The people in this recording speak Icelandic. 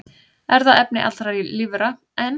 Erfðaefni allra lífvera, en